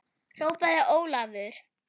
hrópaði Ólafur.